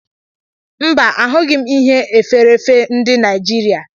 Mba, a hughi m Ihe efèrèèfé ndi Nijiria